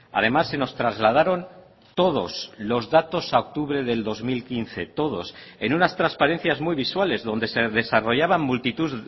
además se nos trasladaron todos los datos a octubre del dos mil quince todos en unas transparencias muy visuales donde se desarrollaban multitud